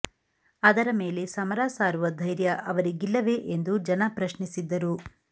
ಅದರ ಮೇಲೆ ಸಮರ ಸಾರುವ ಧೈರ್ಯ ಅವರಿಗಿಲ್ಲವೇ ಎಂದು ಜನ ಪ್ರಶ್ನಿಸಿದ್ದರು